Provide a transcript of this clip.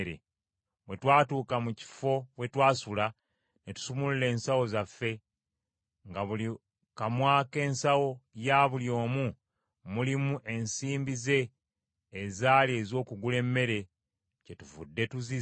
bwe twatuuka mu kifo we twasula, ne tusumulula ensawo zaffe, nga mu buli kamwa k’ensawo ya buli omu mulimu ensimbi ze ezaali ez’okugula emmere, kyetuvudde tuzizza,